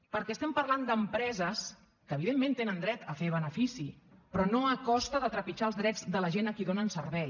perquè estem parlant d’empreses que evidentment tenen dret a fer benefici però no a costa de trepitjar els drets de la gent a qui donen servei